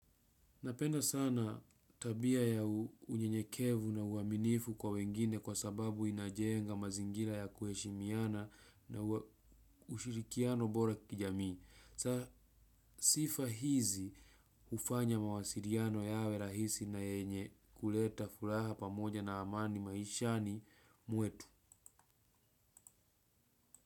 Napenda sana tabia ya unye nyekevu na uaminifu kwa wengine kwa sababu inajenga mazingira ya kuheshimiana na ushirikiano bora kijamii. Sifa hizi hufanya mawasiliano yawe rahisi na yenye kuleta furaha pamoja na amani maishani mwetu.